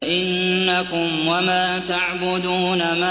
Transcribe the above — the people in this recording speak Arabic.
فَإِنَّكُمْ وَمَا تَعْبُدُونَ